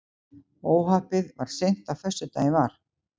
Óhappið varð seint á föstudaginn var